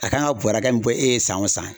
A kan ka bɔɔrɛ hakɛ min bɔ e ye san o san